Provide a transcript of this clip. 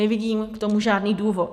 Nevidím k tomu žádný důvod.